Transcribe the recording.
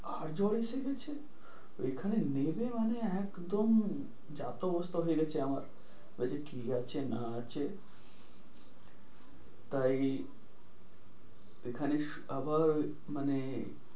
আবার জ্বর এসে গেছে। ওখান থেকে নেমে মানে একদম যা তা অবস্থা হয়ে গেছে আমার। বলছে কি আছে না আছে তাই এখানে আবার মানে,